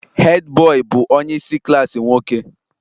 Hed bọị bụ onye isi klaasị nwoke